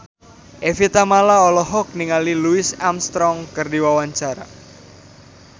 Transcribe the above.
Evie Tamala olohok ningali Louis Armstrong keur diwawancara